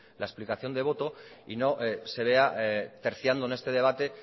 la explicación de voto y no se vea terciando en este debate